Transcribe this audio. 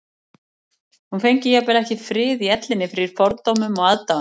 Hún fengi jafnvel ekki frið í ellinni fyrir fordómum og aðdáun